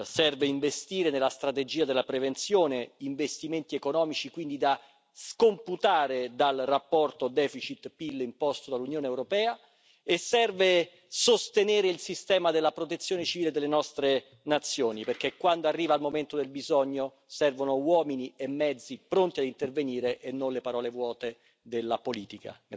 Serve investire nella strategia della prevenzione, investimenti economici da scomputare dal rapporto deficit PIL imposto dall'Unione europea, e serve sostenere il sistema della Protezione civile delle nostre nazioni, perché quando arriva il momento del bisogno servono uomini e mezzi pronti a intervenire e non le parole vuote della politica.